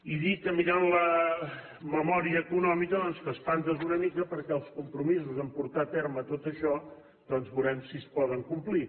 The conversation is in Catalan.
i dir que mirant la memòria econòmica doncs t’espantes una mica perquè els compromisos a portar a terme tot això veurem si es poden complir